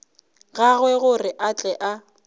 gagwe gore a tle a